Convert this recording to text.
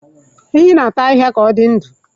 Ehi na-ata ahịhịa ka ọ dị ndụ.